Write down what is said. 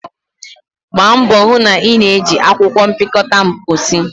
Gbaa mbọ hụ na ị na-eji akwụkwọ mpịakọta mposi!